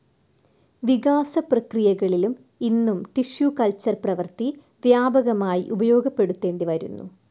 വികാസപ്രക്രീയകളിലും ഇന്നും tissue culture പ്രവൃത്തി വ്യാപകമായി ഉപയോഗപ്പെടുത്തേണ്ടിവരുന്നു.